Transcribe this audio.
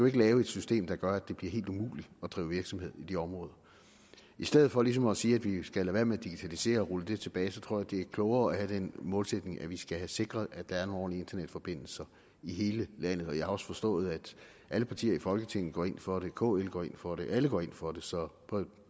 ikke lave et system der gør at det bliver helt umuligt at drive virksomhed i de områder i stedet for ligesom at sige at vi skal lade være med at digitalisere og rulle det tilbage så tror jeg det er klogere at have den målsætning at vi skal sikre at der er nogle ordentlige internetforbindelser i hele landet jeg har også forstået at alle partier i folketinget går ind for det kl går ind for det alle går ind for det så